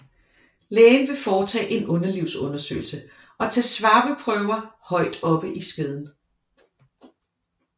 Lægen vil foretage en underlivsundersøgelse og tage svaberprøver højt oppe i skeden